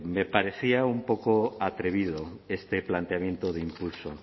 me parecía un poco atrevido este planteamiento de impulso